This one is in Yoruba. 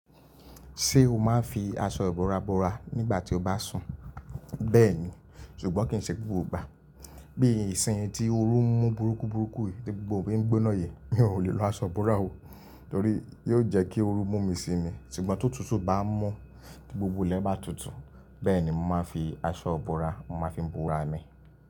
Ṣé o máa ń fi aṣọ ìbúra búra nígbà tí o bá sùn? Bẹ́ẹ̀ni, ṣùgbọ́n kì í ṣe gbogbo ìgbà. Bí ìsinyi tí oru ń mú burúkú burúkú yìí tí gbogbo òbí ń gbóná yìí, mi ò lè lo aṣọ ìbúra o, torí yóò jẹ́ kí oru mú mi si ni. Ṣùgbọ́n tó tutù bá ń mú, tí gbogbo ilẹ̀ bá tutù, bẹ́ẹ̀ ni màá fi aṣọ ìbúra, màá fi búra mi.